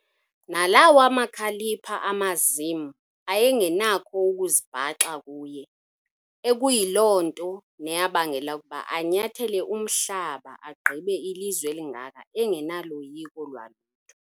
Nalawa makhalipha amazim ayengenakho ukuzibhakaxa kuye, ekuyiloo nto neyabangela ukuba anyathele umhlaba agqibe ilizwe elingaka engenaloyiko lwalutho.